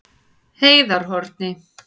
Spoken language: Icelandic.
Heiðarhorni